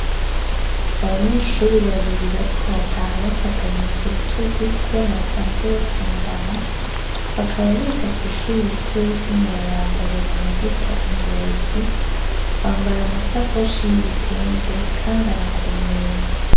Abanyeshuri babiri bariko bataha bafatanye ku rutugu kubera basanzwe bakundana, bakaba biga kw'ishuri ritoya ry' Umweranda Berenadeta i Ngozi. Bambaye amasakoshi y'ibitenge kandi arakomeye.